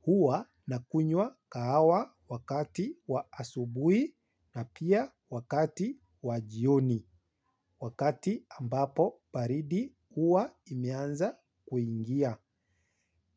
Huwa nakunywa kahawa wakati wa asubuhi na pia wakati wa jioni. Wakati ambapo baridi huwa imeanza kuingia.